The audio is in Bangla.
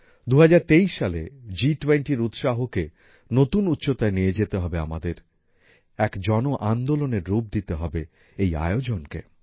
২০২৩ সালে জি টোয়েন্টির উৎসাহকে নতুন উচ্চতায় নিয়ে যেতে হবে আমাদের এক জনআন্দোলনের রূপ দিতে হবে এই আয়োজনকে